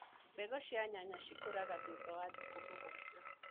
Mbegũ cia nyanya cikuraga thutha wa thikũ mũgwanja.